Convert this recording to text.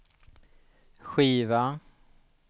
skiva